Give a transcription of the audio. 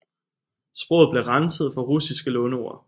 Sproget blev renset for russiske låneord